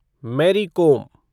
मेरी कोम